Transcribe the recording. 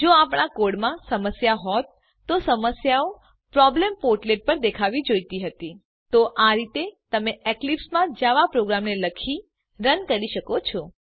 જો આપણા કોડમાં સમસ્યાઓ હોત તો સમસ્યાઓ પ્રોબ્લેમ પોર્ટલેટ પર દેખાવી જોઈતી હતી તો આ રીતે તમે એક્લીપ્સ માં જાવા પ્રોગ્રામને લખી રન કરી શકો છો